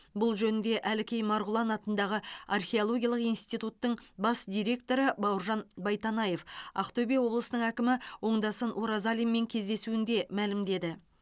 бұл жөнінде әлкей марғұлан атындағы археологиялық институттың бас директоры бауыржан байтанаев ақтөбе облысының әкімі оңдасын оразалинмен кездесуінде мәлімдеді